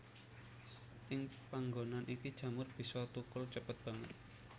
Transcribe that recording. Ing panggonan iki jamur bisa thukul cepet banget